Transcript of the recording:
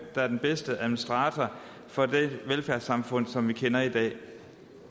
der er den bedste administrator for det velfærdssamfund som vi kender i dag